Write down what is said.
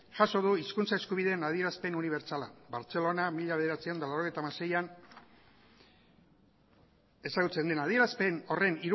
jaso du hizkuntza eskubideen adierazpen unibertsala bartzelona mila bederatziehun eta laurogeita hamaseian ezagutzen den adierazpen horren